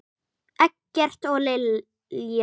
Eggert og Lilja.